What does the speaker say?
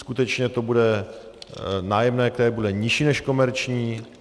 Skutečně to bude nájemné, které bude nižší než komerční.